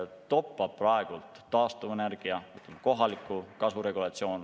Praegu toppab taastuvenergia kohaliku kasu regulatsioon.